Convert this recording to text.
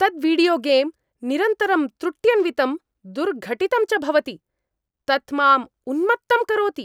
तत् वीडियोगेम् निरन्तरं त्रुट्यन्वितं दुर्घटितं च भवति। तत् माम् उन्मत्तं करोति।